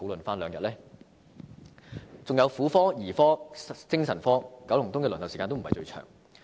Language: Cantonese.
還有婦科、兒科、精神科，九龍東的輪候時間也非最長。